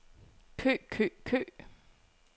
kø kø kø